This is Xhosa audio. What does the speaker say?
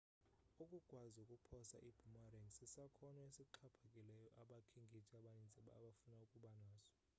ukukwazi ukuphosa i-boomerang sisakhono esixhaphakileyo abakhenkethi abaninzi abafuna ukuba naso